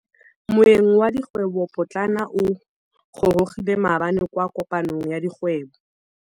Moêng wa dikgwêbô pôtlana o gorogile maabane kwa kopanong ya dikgwêbô.